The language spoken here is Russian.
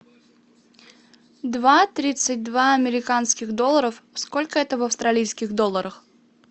два тридцать два американских долларов сколько это в австралийских долларах